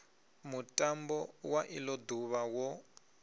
mutambo wa ilo duvha wo